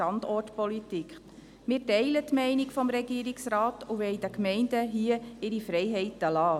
Wir teilen die Meinung des Regierungsrates und wollen den Gemeinden hier ihre Freiheiten lassen.